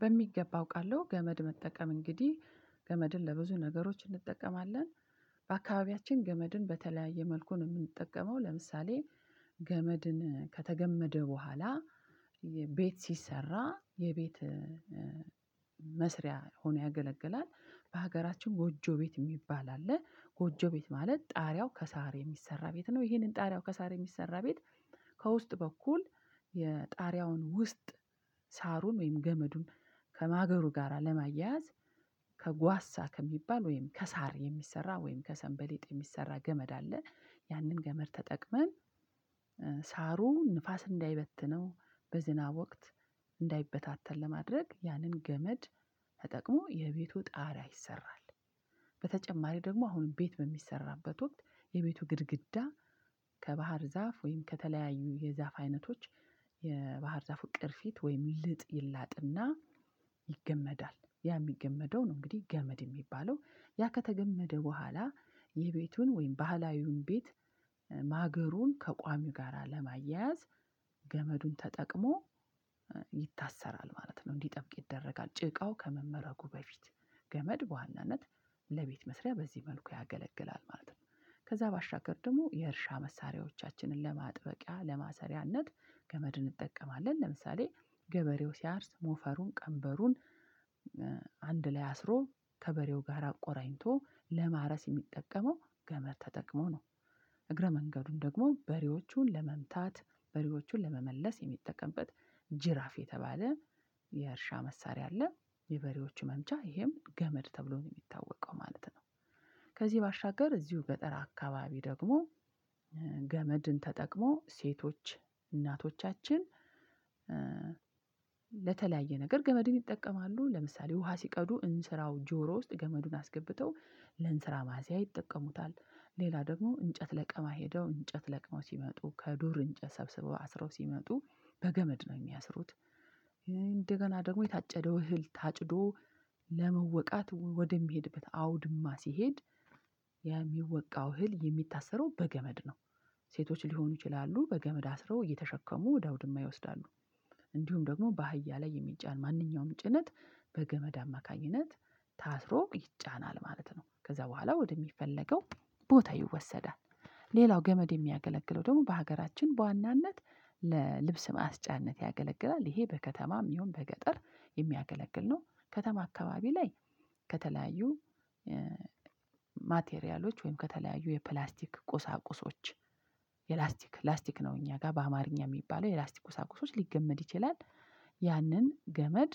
በሚገባ አውቃለሁ ገመድ መጠቀም እንግዲህ ገመድን ለብዙ ነገሮች እንጠቀማለን። በአካባቢያችን ገመድን በተለያየ መልኩን የምንጠቀመው ለምሳሌ ገመድን ከተገመደ በኋላ ቤት ሲሰራ የቤት መስሪያ ሆኖ ያገለግላል በሀገራችን ጎጆ ቤት የሚባል አለ ጎጆ ቤት ማለት ጣሪያው ከሳር የሚሰራ ቤት ነው ይሄንን ጣሪያው ከሳር የሚሰራ ቤት ከውስጥ በኩል የጣሪያውን ውስጥ ሳሩን ወይም ገመዱን ከማገሩ ጋር ለማያያዝ ከጓሳ ከሚባል ወይም ከሳር የሚሰራ ወይም ከሰንበሌጥ የሚሰራ ገመድ አለ። ያንን ገመድ ተጠቅመን ሳሩ ንፋስ እንዳይበትነው በዝና ወቅት እንዳይበታተን ለማድረግ ያንን ገመድ ተጠቅሞ የቤቱ ጣሪያ ይሰራል። በተጨማሪ ደግሞ አሁን ቤት በሚሰራበት ወቅት የቤቱ ግድግዳ ከባህር ዛፍ ወይም ከተለያዩ የዛፍ አይነቶች የባህር ዛፉ ቅርፊት ወይም ልጥ ይላጥ እና ይገመዳል ያ የሚገመደው ነው። እንግዲህ ገመድ የሚባለው ያ ከተገመደ በኋላ የቤቱን ወይም ባህላዊውን ቤት ማገሩን ከቋሚው ጋር ለማያያዝ ገመዱን ተጠቅሞ ይታሰራል ማለት ነው። እንዲህ ጠብቅ ይደረጋል ጭቃው ከመመረጉ በፊት ገመድ በዋናነት ለቤት መስሪያ በዚህ መልኩ ያገለግላል ማለት ነው። ከዛ ባሻገር ደግሞ የእርሻ መሳሪያዎቻችንን ለማጥበቂያ ለማሰሪያነት ከመድን እንጠቀማለን ለምሳሌ ገበሬው ሲያርስ ሞፈሩን ቀንበሩን አንድ ላይ አስሮ ከበሬው ጋር አቆራኝቶ ለማረስ የሚጠቀመው ገመድ ተጠቅሞ ነው። እግረ መንገዱን ደግሞ በሬዎቹን ለመምታት በሬዎቹን ለመመለስ የሚጠቀምበት ጅራፍ የተባለ የእርሻ መሳሪያ አለ የበሬዎቹ መምቻ ይሄም ገመድ ተብሎ ነው የሚታወቀው ማለት ነው። ከዚህ ባሻገር እዚሁ ገጠር አካባቢ ደግሞ ገመድን ተጠቅሞ ሴቶች እናቶቻችን ለተለያየ ነገር ገመድን ይጠቀማሉ ለምሳሌ ውሃ ሲቀዱ እንስራው ጆሮ ውስጥ ገመዱን አስገብተው ለንስራ ማዘያ ይጠቀሙታል። ሌላ ደግሞ እንጨት ለቀማ ሄደው እንጨት ለቅመው ሲመጡ ከዱር እንጨት ሰብስበው አስረው ሲመጡ በገመድ ነው የሚያስሩት። እንደገና ደግሞ የታጨደው እህል ታጭዶ ለመወቃት ወደሚሄድበት አውድማ ሲሄድ የሚወቃው እህል የሚታሰረው በገመድ ነው። ሴቶች ሊሆኑ ይችላሉ በገመድ አስረው እየተሸከሙ ወደ አውድማ ይወስዳሉ። እንዲሁም ደግሞ በአህያ ላይ የሚጫን ማንኛውም ጭነት በገመድ አማካኝነት ታስሮ ይጫናል ማለት ነው። ከዛ በኋላ ወደሚፈለገው ቦታ ይወሰዳል ሌላው ገመድ የሚያገለግለው ደግሞ በሀገራችን በዋናነት ለልብስ ማስጫነት ያገለግላል ይሄ በከተማም ይሁን በገጠር የሚያገለግል ነው። ከተማ አካባቢ ላይ ከተለያዩ ማቴሪያሎች ወይም ከተለያዩ የፕላስቲክ ቁሳቁሶች የላስቲክ ላስቲክ ነው እኛ ጋር በአማርኛ የሚባለው የላስቲክ ቁሳቁሶች ሊገመድ ይችላል። ያንን ገመድ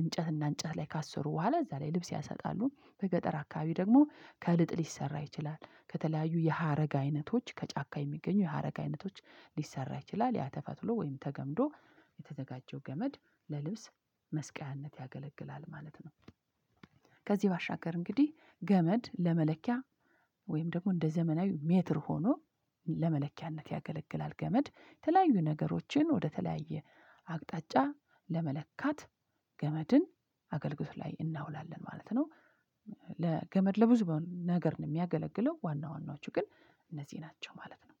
እንጨት እና እንጨት ላይ ካሰሩ በኋላ እዛ ላይ ልብስ ያሳጣሉ በገጠር አካባቢ ደግሞ ከልጥ ሊሰራ ይችላል ከተለያዩ የሀረግ አይነቶች ከጫካ የሚገኙ የሀረግ አይነቶች ሊሰራ ይችላል ያ ተፈትሎ ወይም ተገምዶ የተዘጋጀው ገመድ ለልብስ መስቀያነት ያገለግላል ማለት ነው። ከዚህ ባሻገር እንግዲህ ገመድ ለመለኪያ ወይም ደግሞ እንደ ዘመናዊ ሜትር ሆኖ ለመለኪያነት ያገለግላል ገመድ የተለያዩ ነገሮችን ወደተለያየ አቅጣጫ ለመለካት ገመድን አገልግሎት ላይ እናውላለን ማለት ነው። ለገመድ ለብዙ ነገር ነው የሚያገለግለው ዋና ዋናዎቹ ግን እነዚህ ናቸው ማለት ነው